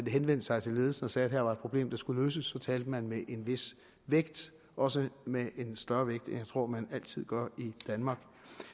henvendte sig til ledelsen og sagde at her var et problem der skulle løses så talte man med en vis vægt også med en større vægt end jeg tror man altid gør i danmark